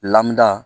Lamuda